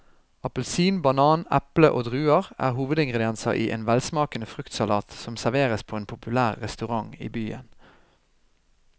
Appelsin, banan, eple og druer er hovedingredienser i en velsmakende fruktsalat som serveres på en populær restaurant i byen.